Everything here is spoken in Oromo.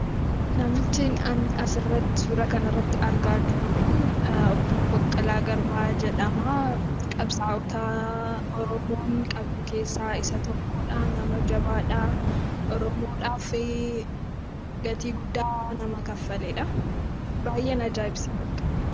Namichi an suuraa kanarratti argaa jiru kun Obbo Baqqalaa Garbaa jedhama. Qabsaa'ota Oromoon qabdu keessaa isa tokkodha. Nama jabaadha. Oromoodhaaf gatii guddaa nama kaffaledha. Baay'een ajaa'ibsiifadha.